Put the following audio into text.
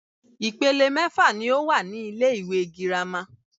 Ìpele mẹ́fà ní o wà ní ilé ìwé gírámà.